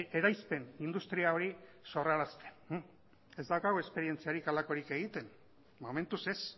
eraispen industria hori sorrarazten ez daukagu esperientzarik halakorik egiten momentuz ez